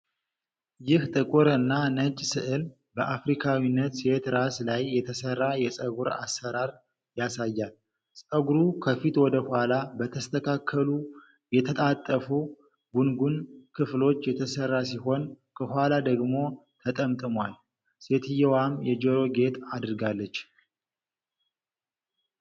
ይህ ጥቁር እና ነጭ ሥዕል በአፍሪካዊት ሴት ራስ ላይ የተሠራን የፀጉር አሠራር ያሳያል። ፀጉሩ ከፊት ወደ ኋላ በተስተካከሉ የተጣጣፉ (ጉንጉን) ክፍሎች የተሠራ ሲሆን፤ ከኋላ ደግሞ ተጠምጥሟል። ሴትየዋም የጆሮ ጌጥ አድርጋለች።